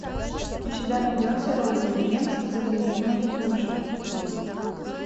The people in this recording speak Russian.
у тебя найдется робин уильямс загляни в мою душу